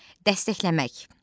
Dəstəkləmək.